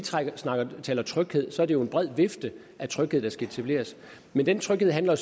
taler tryghed er det jo en bred vifte af tryghed der skal etableres men den tryghed handler